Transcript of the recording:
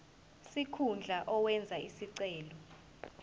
sikhundla owenze isicelo